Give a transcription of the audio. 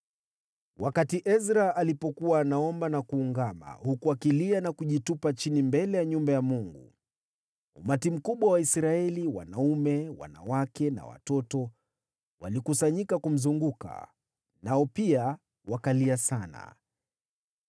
Wakati Ezra alipokuwa anaomba na kuungama, huku akilia na kujitupa chini mbele ya nyumba ya Mungu, umati mkubwa wa Waisraeli, wanaume, wanawake na watoto walikusanyika kumzunguka. Nao pia wakalia sana.